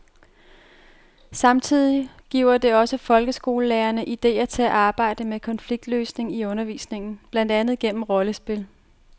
Samtidig giver det også folkeskolelærerne idéer til at arbejde med konfliktløsning i undervisningen, blandt andet gennem rollespil.